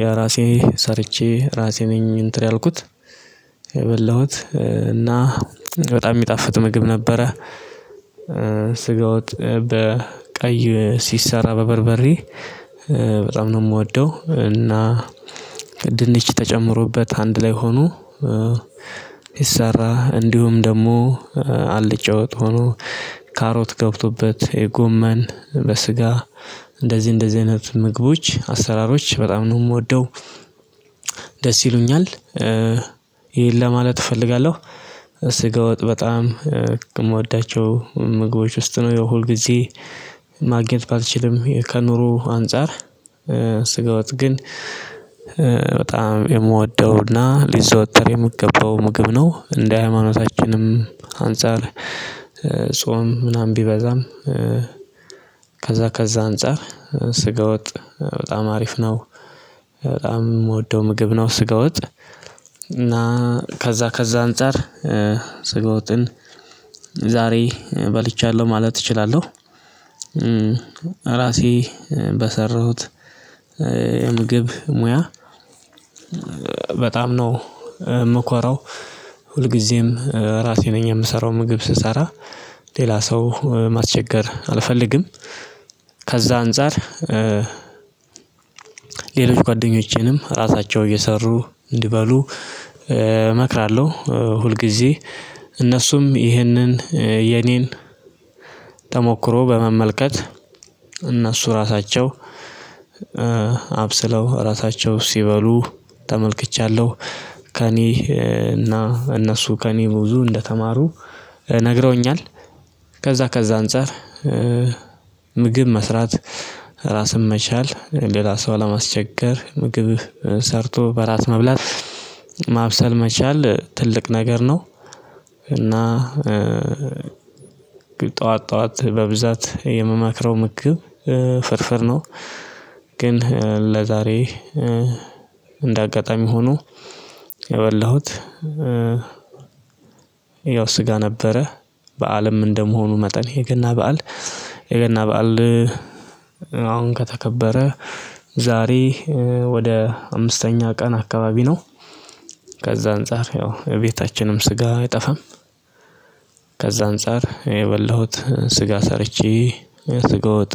የራሴ ሰርቼ ራሴ ነኝ እንትን ያልኩት የበላሁት እና በጣም የሚጣፍጥ ምግብ ነበረ። ስጋ ወጥ በቀይ ሲሰራ በበርበሬ በጣም ነው የምወደው እና ድንች ተጨምሮበት አንድ ላይ ሆኖ ይሰራ እንዲሁም ደግሞ አልጫወት ሆኖ ካሮት ገብቶበት የጎመን በስጋ እንደዚህ እንደዚህ አይነት ምግቦች አሰራሮች በጣም ነው የምወደው። ደስ ይሉኛል ይሄን ለማለት እፈልጋለሁ ስገወጥ በጣም የምወዳቸው ምግቦች ውስጥ ነው የው ሁል ጊዜ ማግኘት ባልችልም ከኑሮ አንፃር ስጋ ወጥ ግን በጣም የምወደው እና ሊዘወተር የምገባው ምግብ ነው። እንደ ሃይማኖታችንም አንፃር ጾም ምናምን ቢበዛም ከዛ ከዛ አንፃር ስገወጥ በጣም አሪፍ ነው። በጣም የምወደው ምግብ ነው። ስገወጥ እና ከዛ ከዛ አንፃር ስጋውጥን ዛሬ በልቻለሁ ማለት እችላለሁ። ራሴ በሰራሁት የምግብ ሙያ በጣም ነው የምኮረው ሁልጊዜም ራሴ ነኝ የምሰራው ምግብ ስሰራ ሌላ ሰው ማስቸገር አልፈልግም። ከዛ አንፃር ሌሎች ጓደኞቼንም ራሳቸው እየሰሩ እንዲበሉ እመክራለሁ ሁልጊዜ እነሱም ይህንን የኔን ተሞክሮ በመመልከት እነሱ ራሳቸው አብስለው ራሳቸው ሲበሉ ተመልክቻለሁ ከእኔ እና እነሱ ከእኔ ብዙ እንደተማሩ ነግረውኛል። ከዛ ከዛ አንፃር ምግብ መስራት ራስን መቻል ሌላ ሰው አለማስቸገር ምግብህ ሰርቶ በራስ መብላት ማብሰል መቻል ትልቅ ነገር ነው። እና ጠዋት በብዛት የምመክረው ምግብ ፍርፍር ነው። ግን ለዛሬ እንደ አጋጣሚ ሆኖ የበላሁት ያው ስጋ ነበረ። በአለም እንደመሆኑ መጠን የገና በዓል የገና በዓል ከተከበረ ዛሬ ወደ አምስተኛ ቀን አካባቢ ነው። ከዛ አንፃር ያው እቤታችንም ስጋ አይጠፋም። ከዛ አንፃር የበላሁት ስጋ ሰርቼ ስጋውጥ።